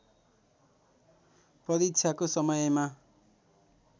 परीक्षाको समयमा